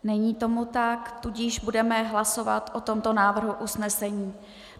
Není tomu tak, tudíž budeme hlasovat o tomto návrhu usnesení: